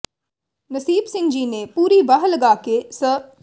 ਨਸੀਬ ਸਿੰਘ ਜੀ ਨੇ ਪੂਰੀ ਵਾਹ ਲਗਾ ਕੇ ਸ